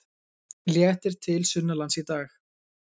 Léttir til sunnanlands í dag